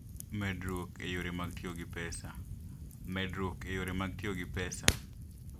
Medruok e Yore mag Tiyo gi Pesa: Medruok e yore mag tiyo gi pesa.